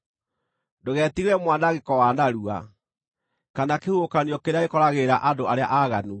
Ndũgetigĩre mwanangĩko wa narua, kana kĩhuhũkanio kĩrĩa gĩkoragĩrĩra andũ arĩa aaganu,